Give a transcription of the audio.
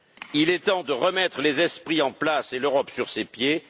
Il est temps de remettre les esprits en place et l'Europe sur ses pieds.